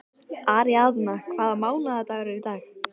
Aríaðna, hvaða mánaðardagur er í dag?